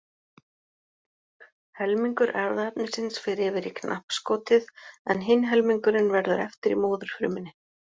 Helmingur erfðaefnisins fer yfir í knappskotið en hinn helmingurinn verður eftir í móðurfrumunni.